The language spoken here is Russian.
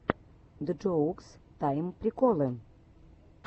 джоукс тайм приколы